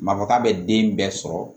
Ma fɔ k'a bɛ den bɛɛ sɔrɔ